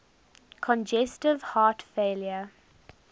congestive heart failure